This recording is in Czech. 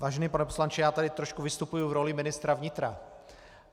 Vážený pane poslanče, já tady trošku vystupuji v roli ministra vnitra.